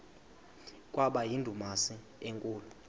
kwaba yindumasi enkulu